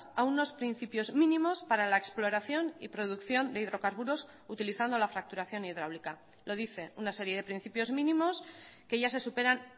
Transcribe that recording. a unos principios mínimos para la exploración y producción de hidrocarburos utilizando la fracturación hidráulica lo dice una serie de principios mínimos que ya se superan